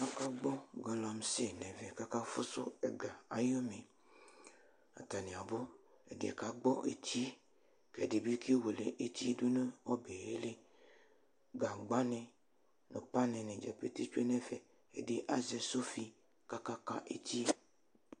Akagbɔ galamse nʋ ɛvɛ kʋ aka fʋsʋ ɛga ayʋ umi Atani abʋ, ɛdiyɛ kagbɔ etie kʋ ɛdibi kewele erie dʋnʋ ɔbɔli Gagbani nʋ pani atadza pete tsue nʋ ɛfɛ, azɛ sofi kaka etie